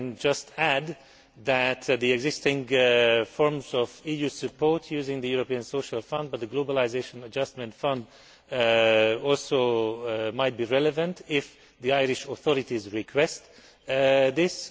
I can just add that the existing forms of EU support using the European Social Fund and the Globalisation Adjustment Fund might also be relevant if the Irish authorities request this.